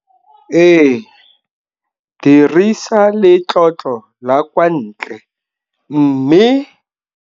Ee, dirisa letlotlo la kwa ntle, mme.